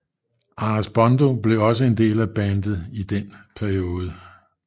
Anders Bondo blev også en del af bandet i den periode